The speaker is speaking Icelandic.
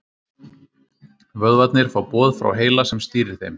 Vöðvarnir fá boð frá heila sem stýrir þeim.